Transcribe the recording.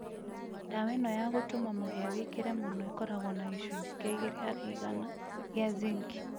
dawa ĩno ya gũtũma mũhĩa wĩkĩre mũno ĩkoragũo na gĩcũnjĩ kĩa ĩgĩrĩ harĩ ĩgana gĩa zĩnkĩ